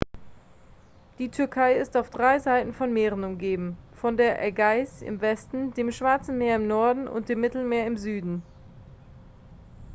die türkei ist auf drei seiten von meeren umgeben von der ägäis im westen dem schwarze meer im norden und dem mittelmeer im süden